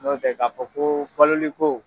N'o tɛ ka fɔ ko baloliko